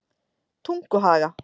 Tunguhaga